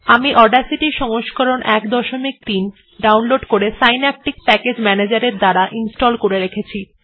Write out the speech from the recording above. আমি অডাসিটি সংস্করণ ১৩ ডাউনলোড করে সিন্যাপটিক প্যাকেজ ম্যানেজারের মাধ্যমে আমার PC ত়ে ইনস্টল করে রেখেছি